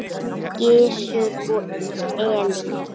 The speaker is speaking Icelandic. Gizur og Elín.